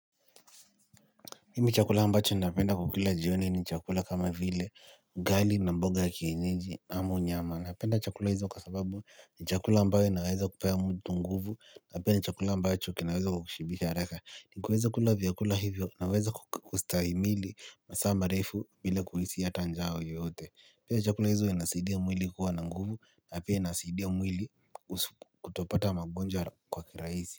Mimi chakula ambacho napenda kukula jioni ni chakula kama vile ugali na mboga ya kienyeji amu nyama. Napenda chakula hizo kwa sababu ni chakula ambayo inaweza kupea mtu nguvu. Napenda chakula ambacho kinaweza kukushibisha haraka. Ukiweza kula vyakula hivyo unaweza kustahimili masaa marefu bila kuhisi hata njaa yoyote. Chakula hizo zinasidia mwili kuwa na nguvu na pia inasaidia mwili kutopata magonjwa kwa kirahisi.